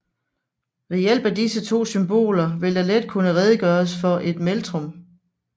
Ved hjælp af disse to symboler vil der let kunne redegøres for et metrum